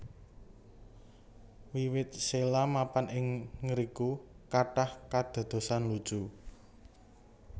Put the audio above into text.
Wiwit Sheila mapan ing ngriku kathah kadadosan lucu